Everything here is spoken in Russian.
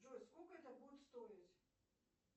джой сколько это будет стоить